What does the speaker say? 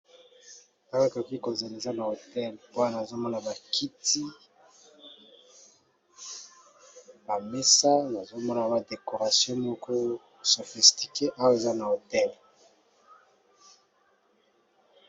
tak akoki kozaneza na hotel wana azomona bakiti bamesa nazomona badecoration moko sophistique awe eza na hotel